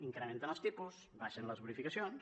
incrementen els tipus baixen les bonificacions